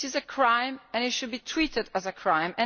It is a crime and it should be treated as a crime.